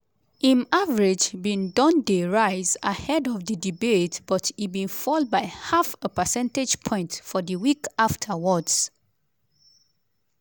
im average bin don dey rise ahead of di debate but e bin fall by half a percentage point for di week afterwards.